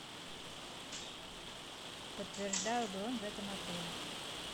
подтверждаю бронь в этом отеле